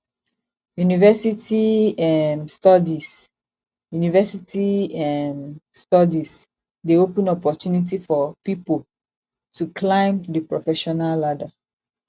university um studies university um studies dey open opportunity for pipo to climb di professional ladder